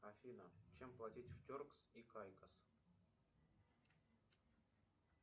афина чем платить в теркс и кайкос